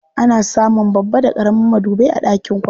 Ana samun babba da ƙaramin madubai a ɗakin kwana.